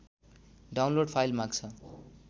download file माग्छ